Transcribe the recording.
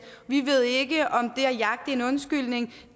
vi ved ikke om det at jagte en undskyldning